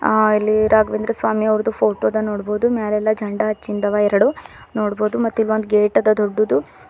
ಅ ಇಲ್ಲಿ ರಾಘವೇಂದ್ರ ಸ್ವಾಮಿ ಅವರ್ದು ಫೋಟೋ ಅದ ನೋಡ್ಬೊದು ಮ್ಯಾಲ ಎಲ್ಲಾ ಜೆಂಡ ಹಚ್ಚಿಂದ ಅವ ಎರಡು ನೋಡಬೋದು ಮತ್ತು ಇಲ್ಲಿ ಒಂದ ಗೇಟ್ ಅದ ದೊಡ್ಡದು.